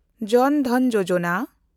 ᱡᱚᱱ ᱫᱷᱚᱱ ᱡᱳᱡᱚᱱᱟ